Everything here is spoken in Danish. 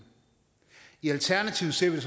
i alternativet ser